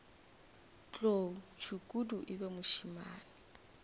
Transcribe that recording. tlou tšhukudu e be mošemane